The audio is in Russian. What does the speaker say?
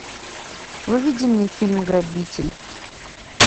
выведи мне фильм грабитель